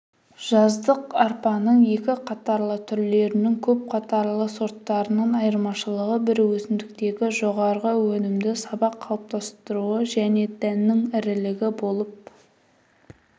жаздық арпаның екі қатарлы түрлерінің көп қатарлы сорттарынан айырмашылығы бір өсімдіктегі жоғарғы өнімді сабақ қалыптастыруы және дәнінің ірілігі болып